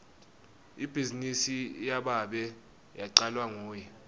ibhizinisi yababe yacalwa nguye